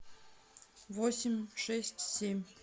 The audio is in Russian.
восемь шесть семь